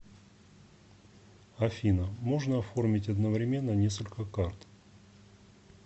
афина можно оформить одновременно несколько карт